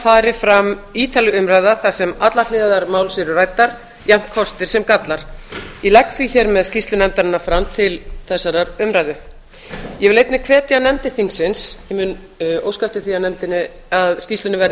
fari fram ítarleg umræða þar sem allar hliðar máls eru ræddar jafnt kostir sem gallar ég legg því hér með skýrslu nefndarinnar fram til þessarar umræðu ég vil einnig hvetja nefndir þingsins en ég mun óska eftir því að skýrslunni verði